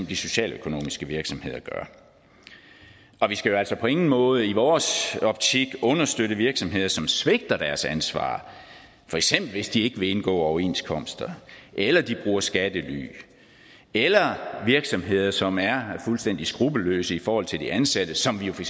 de socialøkonomiske virksomheder gør og vi skal altså på ingen måde i vores optik understøtte virksomheder som svigter deres ansvar for eksempel hvis de ikke vil indgå overenskomster eller de bruger skattely eller virksomheder som er fuldstændig skruppelløse i forhold til de ansatte som vi for